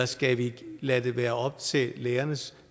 skal lade det være op til lærernes